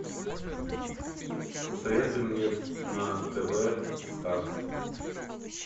посоветуй мне на тв старт